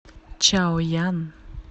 чаоян